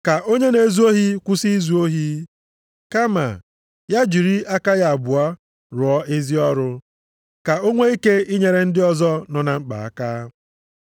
Ka onye na-ezu ohi kwụsị izu ohi. Kama ya jiri aka ya abụọ rụọ ezi ọrụ, ka o nwee ike inyere ndị ọzọ nọ na mkpa aka.